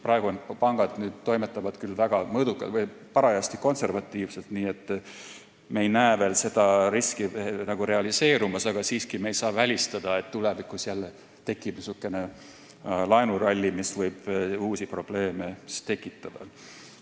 Pangad toimetavad küll mõõdukalt või parajasti konservatiivselt, nii et me ei näe veel seda riski nagu realiseerumas, aga siiski me ei saa välistada, et tulevikus jälle tekib niisugune laenuralli, mis võib uusi probleeme tekitada.